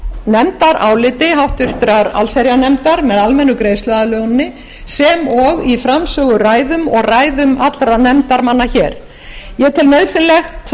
nefndaráliti háttvirtrar allsherjarnefndar með almennu greiðsluaðlöguninni sem og í framsöguræðum og ræðum allra nefndarmanna ég tel